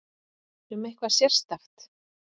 Um eitthvað sérstakt?